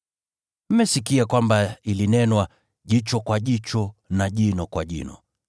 “Mmesikia kwamba ilinenwa, ‘Jicho kwa jicho na jino kwa jino.’